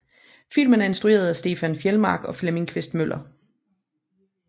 Filmen er instrueret af Stefan Fjeldmark og Flemming Quist Møller